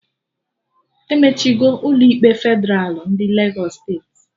Emechigo Ụlọ ikpe Fedralụ ndị Legos steeti